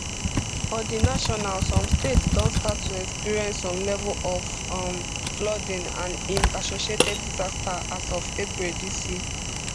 for di national some states don start to experience some level of um flooding and im associated disaster as of april dis year